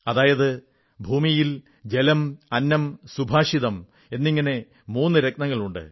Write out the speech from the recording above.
അതായത് ഭൂമിയിൽ ജലം അന്നം സുഭാഷിതം എന്നിങ്ങനെ മൂന്നു രത്നങ്ങളുണ്ട്